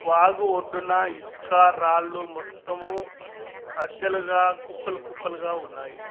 వాగు ఒడ్డున ఇసుక రాళ్లు మొత్తము అద్దెలుగా కుప్పలు కుప్పలుగా ఉన్నాయి.